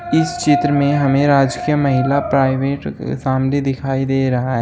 इस चित्र में हमें राजकीय महिला प्राइवेट शामली दिखाई दे रहा है।